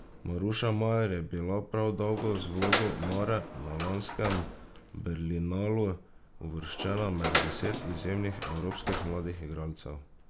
Maruša Majer je bila prav z vlogo Mare na lanskem Berlinalu uvrščena med deset izjemnih evropskih mladih igralcev.